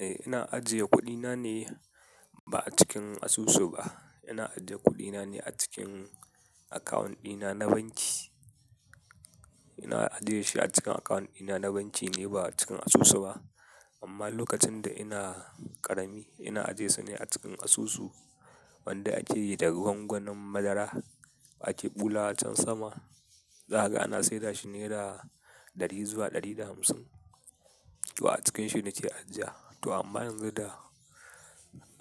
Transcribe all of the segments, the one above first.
Eh, ina ajiye kuɗina ne ba a cikin asusu ba. Ina ajiye kuɗina ne a cikin akawun ɗina na banki. Ina ajiye shi a cikin akawun ɗina na banki ne ba a cikin asusu ba. Amma lokacin da ina ƙarami, ina ajiyesu ne a cikin asusu wanda ake yi da ruwan gwanon madara ake ɓulawa a can sama. Za ka ga ana sayar da shi nera ɗari zuwa ɗari da hamsin. To a cikin shi nake ajiya. To amma yanzu da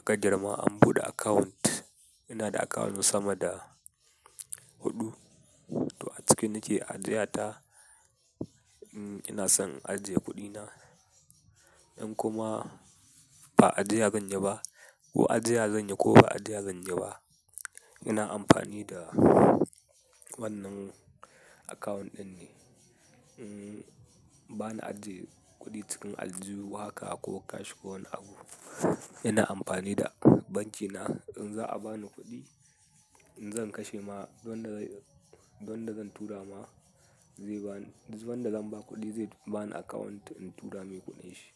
ka girma an buɗe account. Ina da akawun sama da huɗu. To a ciki nake ajiya ta, in ina son in ajiye kuɗina. In kuma ba ajiya zanyi ba ko ajiya zanyi ko ba ajiya zanyi ba, ina amfani da wannan akawun ɗin ne. Ba na ajiye kuɗi cikin aljihu haka ko cash ko wani abu. Ina amfani da banki na. In za a ba ni kuɗi, in zan kashe ma, duk wanda, duk wanda zan tura ma, zai ba ni, duk wanda zan ba kuɗi zai ba ni account in tura mai kuɗin shi.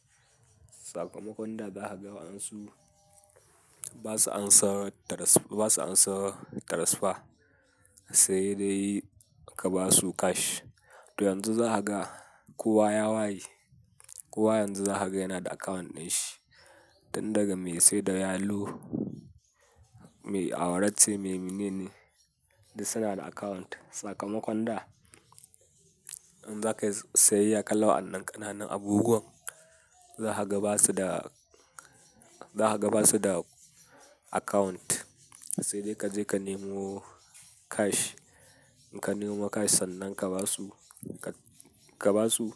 Sakamakon da zakaga wa'an su, ba su ansa tras--, ba su ansa transfer sai dai ka ba su cash. To yanzu zakaga kowa ya waye, kowa yanzu zakaga yana da account ɗin shi. Tun daga mai sai da yalo, mai awara ce, mai mi mene ne duk suna da account. Sakamakon da in za ka yi sayayya kala waɗannan ƙananan abubuwan, zakaga ba su da, zakaga ba su da account sai dai ka je ka nemo cash. In ka nemo cash sannan ka ba su, ka ba su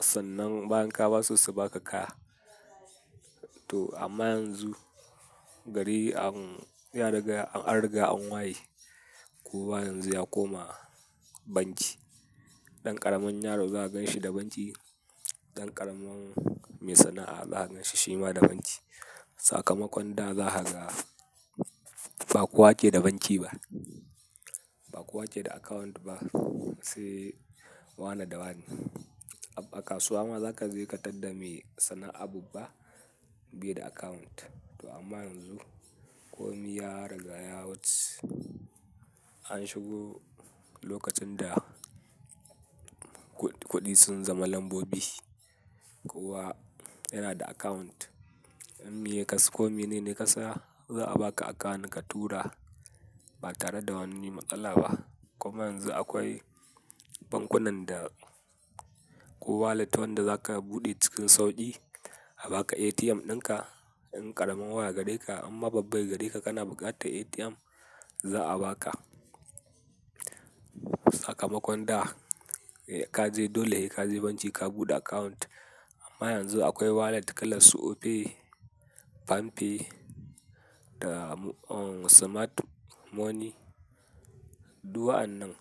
sannan bayan ka ba su su baka kaya. To amma yanzu, gari an ya riga, an riga an waye. Kowa yanzu ya koma banki. Ɗan ƙaramin yaro za ka ganshi da banki, ɗan ƙaramin mai sana'a za ka ganshi shi ma da banki. Sakamakon da zakaga ba kowa ke da banki ba, ba kowa ke da account ba sai wane da wane. A kasuwa ma za ka je ka tadda mai sana'ar abu ba, bai da account. To amma yanzu, komi ya riga yawuce. An shigo lokacin da kuɗi sun zama lambobi. Kowa yana da akawunt. In mi ka su, komi ne ne ka sa za a baka account ka tura ba tare da wani matsala ba. Kuma yanzu akwai bankunan da ko wallet wanda za ka buɗe cikin sauƙi, a baka ATM ɗin ka. In ƙaramin waya gareka in ma babba gareka ka, kana buƙatar ATM, za a baka. Sakamakon da a ka je dole, ka je banki ka buɗe account. Amma yanzu akwai wallet kalar su. Opay, palmpay, da Smart Money. Duk wa'annan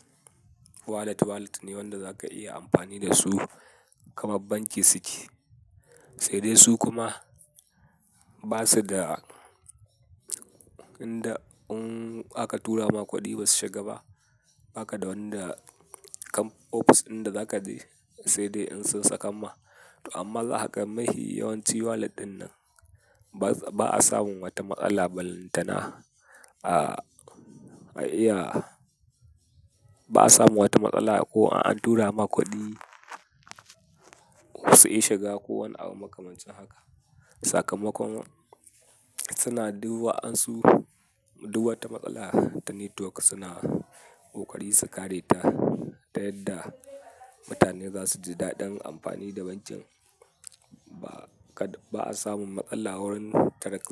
wallet, wallet ne wanda za ka iya amfani da su kamar banki suke. Sai dai su kuma ba su da inda in aka tura ma kuɗi basu shiga ba, ba ka da wanda kan ofis inda za ka je sai dai in sun saka ma. To amma zakagan mahi yawanci wallet ɗin nan ba a samun wata matsala balantana a iya, ba a samun wata matsala ko an tura ma kuɗi su ki shiga ko wani abu makamancin haka. Sakamakon suna duk wa'ansu, duk wata matsala ta network suna ƙoƙari su kare ta ta yadda mutane za su ji daɗin amfani da bankin. Ba ka, ba a samun matsala wurin tarak,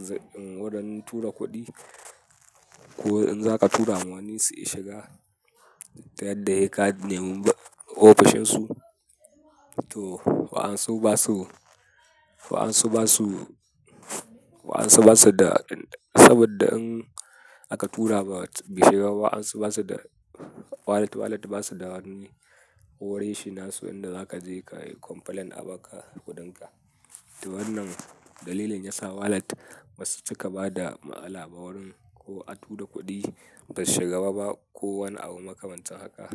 wurin tura kuɗi ko in za ka tura ma wani su ki shiga ta yadda sai ka nemi ofishin su. To wa'ansu ba su, wa'ansu ba su, wa'ansu ba su da saboda in aka tura ba bai shiga ba wa'ansu ba su da wallet, wallet ba su da wani ofishi nasu inda za ka je ka yi complaint a baka kuɗin ka. To wannan dalilin yasa wallet ba su cika ba da matsala ba wurin ko a tura kuɗi bai shiga ba ba ko wani abu makamancin haka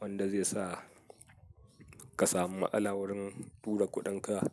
wanda zai sa ka samu matsala wurin tura kuɗin ka.